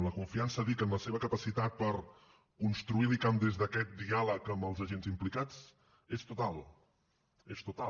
la confiança dic en la seva capacitat per construir l’icam des d’aquest diàleg amb els agents implicats és total és total